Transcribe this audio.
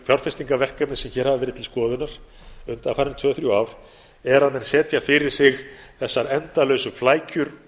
fjárfestingarverkefni sem verið hafa til skoðunar undanfarin tvö til þrjú ár er að menn setja fyrir sig þessar endalausu flækjur